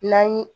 N'an ye